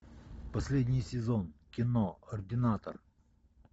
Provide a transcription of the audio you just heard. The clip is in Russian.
последний сезон кино ординатор